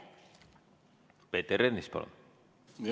Peeter Ernits, palun!